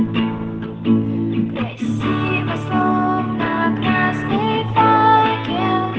им виски